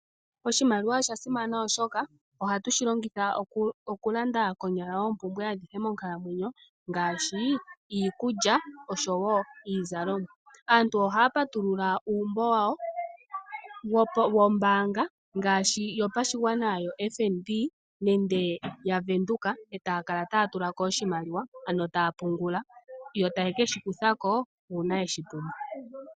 Oshimaliwa osha simana oshoka ohatu shilongitha okulanda konyala oopumbwe adhihe monkalamwenyo ngaashi iikulya oshowo iizalomwa. Aantu ohaa patulula uumbo wawo wombaanga ngaashi yopashigwana yoFNB nenge yaWindhoek e taa kala taa tula ko oshimaliwa, ano taa pungula, yo taye keshi kutha ko uuna ye shi pumbwa.